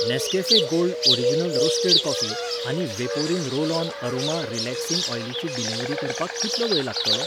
Nescafe gold original roasted coffee आनी vaporin roll on aroma relaxing ऑयलीची delivery करपाक कितलो वेळ लागतलो ?